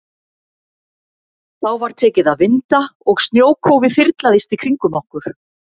Þá var tekið að vinda og snjókófið þyrlaðist í kringum okkur.